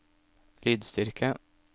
lydstyrke